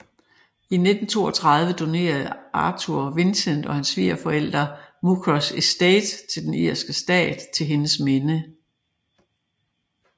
I 1932 donerede Arthur Vincent og hans svigerforældre Muckross Estate til den irske stat til hendes minde